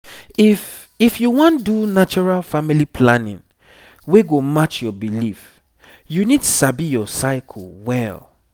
if if you wan do natural family planning wey go match your belief you need sabi your cycle well